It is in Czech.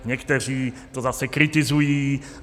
Někteří to zase kritizují.